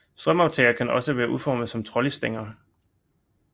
Strømaftagere kan også være udformet som trolleystænger